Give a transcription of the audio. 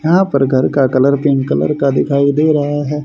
यहां पर घर का कलर पिंक कलर का दिखाई दे रहा है।